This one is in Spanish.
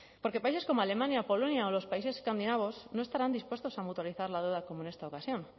porque países como alemania polonia o los países escandinavos no estarán dispuestos a mutualizar la deuda como en esta ocasión